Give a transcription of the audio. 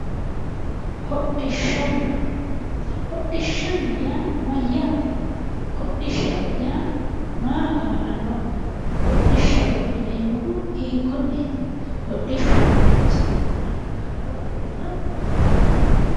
Hodhishshanna. Hodhishshanna yaa mayyaate? Hodhishshaho yaa maaho kaa'lannoho? Hodhishshaho yineemmohu hiikkonneeti? Hodhishshu manchi beettira kaa'lo afirino?